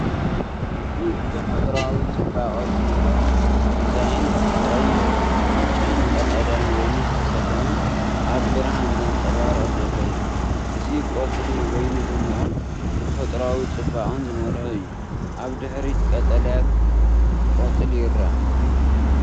እዚ ብተፈጥሮኣዊ ጽባቐ ዝመልአ ዲዛይን፡ ብቐይሕ፡ ብጫን ቀጠልያን ወይኒ ዝተሰለመ፡ ኣብ ብርሃን ዘንጸባርቕ ዘሎ እዩ። እዚ ቆጽሊ ወይኒ ድሙቕን ተፈጥሮኣዊ ጽባቐ ዝመልኦን እዩ። ኣብ ድሕሪት ቀጠልያ ቆጽሊ ይርአ።